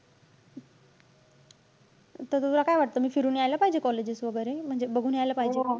त तुला काय वाटतं? मी फिरून यायला पाहिजे colleges वैगेरे. म्हणजे बघून यायला पाहिजे ?